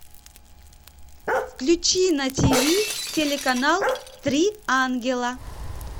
включи на тиви телеканал три ангела